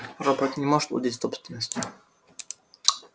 робот не может владеть собственностью